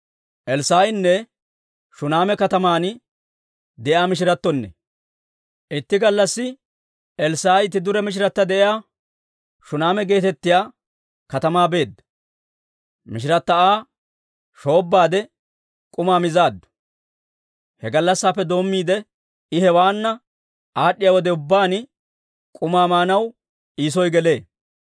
Itti gallassi Elssaa'i itti dure mishirata de'iyaa Shuneema geetettiyaa katamaa beedda. Mishirata Aa shoobbaade, k'umaa mizaaddu. He gallassaappe doommiide, I hewaana aad'd'iyaa wode ubbaan, k'umaa maanaw I soo gelee.